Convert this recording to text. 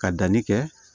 Ka danni kɛ